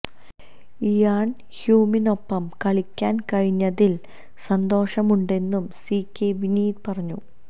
ഇയാന് ഹ്യൂമിനൊപ്പം കളിക്കാന് കഴിഞ്ഞതില് സന്തോഷമുണ്ടെന്നും സി കെ വിനീത് പറഞ്ഞു